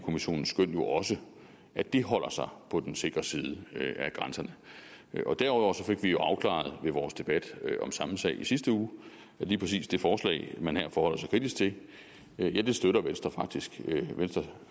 kommissionens skøn jo også at det holder sig på den sikre side af grænserne derudover fik vi jo afklaret i vores debat om samme sag i sidste uge at lige præcis det forslag man her forholder sig kritisk til støtter venstre faktisk venstre